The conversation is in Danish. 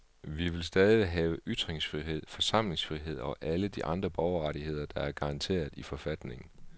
Vi vil stadig have ytringsfrihed, forsamlingsfrihed og alle de andre borgerrettigheder, der er garanteret i forfatningen.